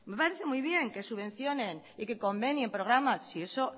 me parece muy bien que subvencionen y que convenien programas si eso